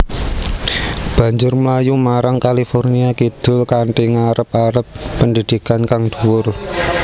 Banjur mlayu marang California kidul kanthi ngarep arep pendhidhikan kang dhuwur